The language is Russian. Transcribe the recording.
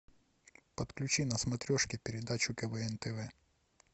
подключи на смотрешке передачу квн тв